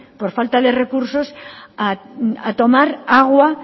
por falta de recursos a tomar agua